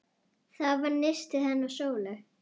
Það var nistið hennar Sólu.